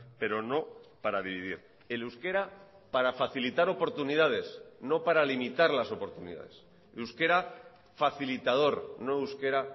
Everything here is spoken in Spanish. pero no para dividir el euskera para facilitar oportunidades no para limitar las oportunidades euskera facilitador no euskera